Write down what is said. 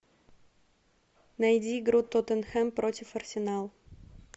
найди игру тоттенхэм против арсенал